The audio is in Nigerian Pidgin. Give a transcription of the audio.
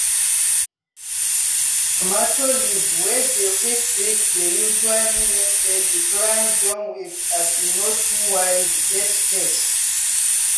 tomato leave wey dey quick break dey usually mean say di plant don weak as e no too wide get space.